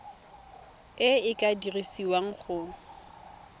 e e ka dirisiwang go